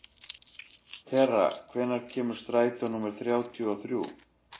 Tera, hvenær kemur strætó númer þrjátíu og þrjú?